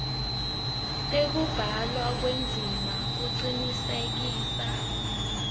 tekubhalwa kwendzima kucinisekisa